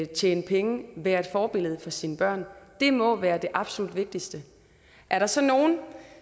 tjene penge være et forbillede for sine børn må være det absolut vigtigste er der så nogle